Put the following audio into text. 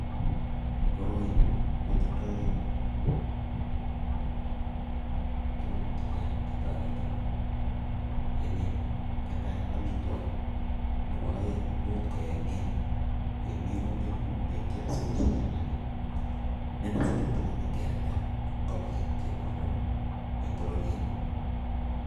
Koroi kotindotugun chechang chetoretii emet, netai ko amitwogiik, imuch kemim koik minutiik sikosich alaak, chekisich chutok alak kealda kobii chepkondok eng bororiet